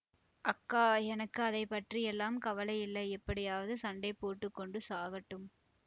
அக்கா எனக்கு அதை பற்றியெல்லாம் கவலை இல்லை எப்படியாவது சண்டை போட்டு கொண்டு சாகட்டும்